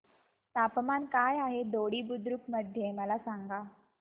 तापमान काय आहे दोडी बुद्रुक मध्ये मला सांगा